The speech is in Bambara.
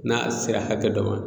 N'a sera hakɛ dɔ ma